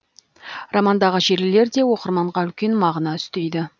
романдағы желілер де оқырманға үлкен мағына үстейді